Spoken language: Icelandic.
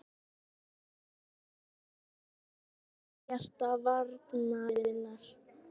Myndaði stórglæsilegt par með Ragga í hjarta varnarinnar.